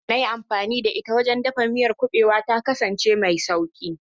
Hanyar da na yi amfani da ita wajen dafa miyar kuɓewa ta kasance mai sauƙi.